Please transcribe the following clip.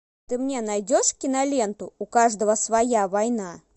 ты мне найдешь киноленту у каждого своя война